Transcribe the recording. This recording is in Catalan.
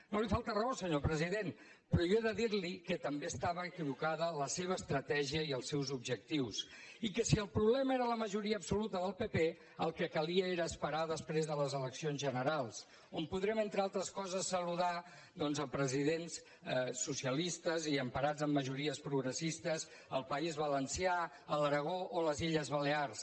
no li falta raó senyor president però jo he de dir li que també estaven equivocats la seva estratègia i els seus objectius i que si el problema era la majoria absoluta del pp el que calia era esperar després de les eleccions generals quan podrem entre altres coses saludar doncs presidents socialistes i emparats en majories progressistes al país valencià a l’aragó o a les illes balears